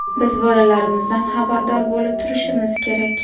Biz bolalarimizdan xabardor bo‘lib turishimiz kerak.